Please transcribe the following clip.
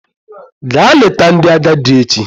Gaa leta ndị agadi echi!